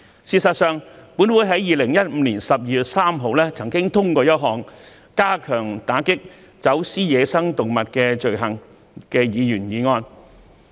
事實上，本會在2015年12月3日曾通過一項"加強打擊走私野生動物的罪行"的議員議案。